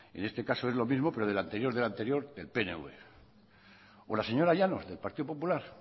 en este caso es lo mismo pero del anterior del anterior el pnv o la señora llanos del partido popular